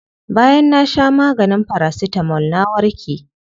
Bayan na sha maganin paracetamol na warke.